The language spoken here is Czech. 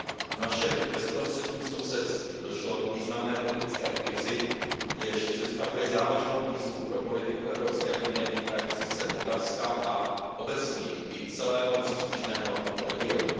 V našem bezprostředním sousedství došlo k významné politické krizi, jež představuje závažnou výzvu pro politiku EU týkající se Moldavska a obecněji i celého příslušného regionu.